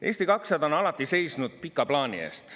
Eesti 200 on alati seisnud pika plaani eest.